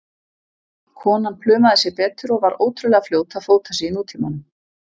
Konan plumaði sig betur og var ótrúlega fljót að fóta sig í nútímanum.